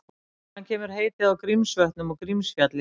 Hvaðan kemur heitið á Grímsvötnum og Grímsfjalli?